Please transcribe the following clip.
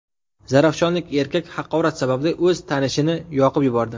Zarafshonlik erkak haqorat sababli o‘z tanishini yoqib yubordi.